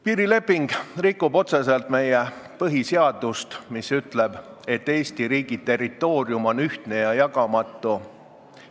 Piirileping rikub otseselt meie põhiseadust, mis ütleb, et Eesti riigi territoorium on ühtne ja jagamatu.